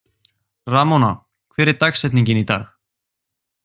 Ramóna, hver er dagsetningin í dag?